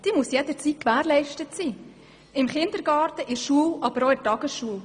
Diese muss jederzeit gewährleistet sein: im Kindergarten, in der Schule und auch in der Tagesschule.